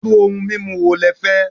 Iru oun mimu wo lẹ fẹ́?